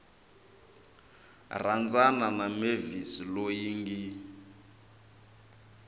rhandzana na mavis loyi ngi